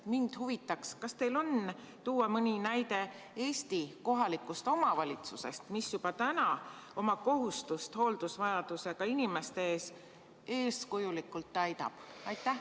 Mind huvitaks, kas teil on tuua mõni näide Eesti kohalikust omavalitsusest, mis juba täna oma kohustust hooldusvajadusega inimeste ees eeskujulikult täidab.